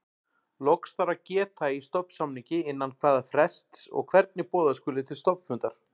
Loks þarf að geta í stofnsamningi innan hvaða frests og hvernig boða skuli til stofnfundar.